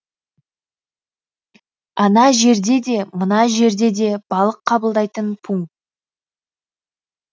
ана жерде де мына жерде де балық қабылдайтын пункт